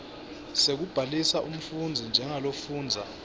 sekubhalisa umfundzi njengalofundza